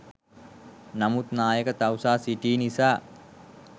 නමුත් නායක තවුසා සිටි නිසා